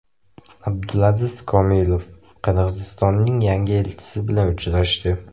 Abdulaziz Komilov Qirg‘izistonning yangi elchisi bilan uchrashdi.